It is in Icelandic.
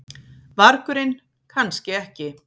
vargurinn, kannski ekki.